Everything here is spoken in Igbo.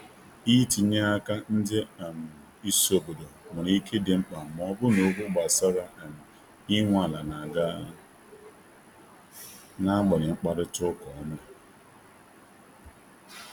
itinye aka ndị um isi obodo nwere ike idi mkpa ma ọ bụrụ na okwu gbasara um inwe ala n'aga na agbanyeghị mkparịta ụka ọma